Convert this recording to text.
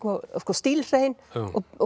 stílhrein og